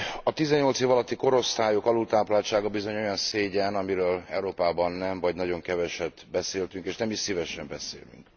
A 18 év alatti korosztályok alultápláltsága bizony olyan szégyen, amiről Európában nem, vagy nagyon keveset beszéltünk, és nem is szívesen beszélünk.